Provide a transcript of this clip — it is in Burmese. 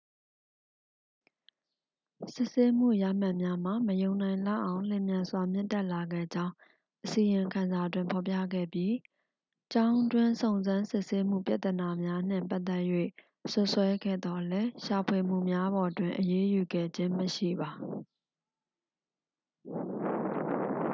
စစ်ဆေးမှုရမှတ်များမှာ မယုံနိုင်လောက်အောင် လျင်မြန်စွာ မြင့်တက်လာခဲ့ကြောင်း အစီရင်ခံစာတွင်ဖော်ပြခဲ့ပြီး ကျောင်းတွင်းစုံစမ်းစစ်ဆေးမှုပြဿနာများနှင့်ပတ်သက်၍ စွပ်စွဲခဲ့သော်လည်း ရှာဖွေမှုများပေါ်တွင် အရေးယူခဲ့ခြင်းမရှိပါ